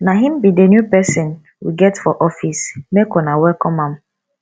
na him be the new person we get for office make una welcome am